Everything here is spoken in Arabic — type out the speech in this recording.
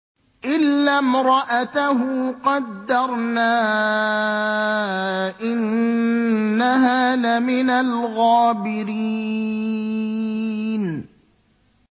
إِلَّا امْرَأَتَهُ قَدَّرْنَا ۙ إِنَّهَا لَمِنَ الْغَابِرِينَ